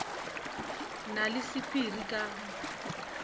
na le sephiri ka ga